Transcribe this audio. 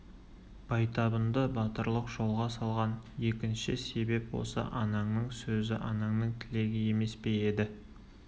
байтабынды батырлық жолға салған екінші себеп осы ананың сөзі ананың тілегі емес пе еді